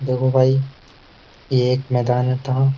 देखो भाई ये एक मैदान था।